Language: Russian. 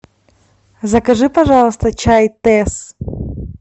закажи пожалуйста чай тесс